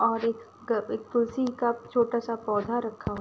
और एक एक तुलसी का छोटा सा पौधा रखा --